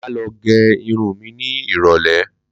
Mà á lọ gẹ irun mi ní ìrọ̀lẹ́